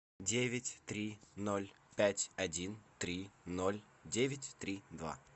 девять три ноль пять один три ноль девять три два